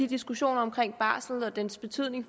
diskussioner om barsel og dens betydning